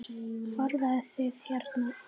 Fóruð þið hérna?